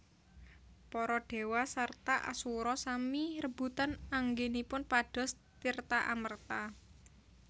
Para Dewa sarta Asura sami rebutan anggenipun pados tirta amerta